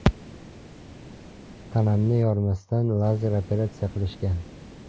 Tanamni yormasdan, lazer operatsiya qilishgan.